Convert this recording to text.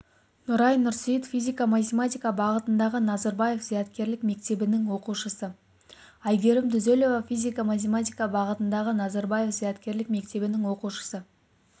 нұрай нұрсейіт физика-математика бағытындағы назарбаев зияткерлік мектебінің оқушысы айгерім түзелова физика-математика бағытындағы назарбаев зияткерлік мектебінің оқушысы